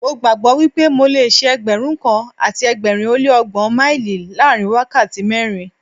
Mo gbàgbó wípé mo le ṣe Ẹgbẹ̀rún kan àti ẹgbẹ̀rin ó lé ọgbọ́n míílì láàrin wákàtí mẹ́rin.